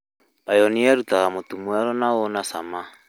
Pioneer' ĩrutaga mũtu mwerũ na wĩ na cama